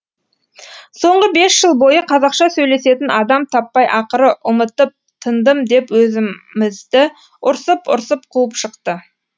соңғы бес жыл бойы қазақша сөйлесетін адам таппай ақыры ұмытып тындым деп өзімізді ұрсып ұрсып қуып шықты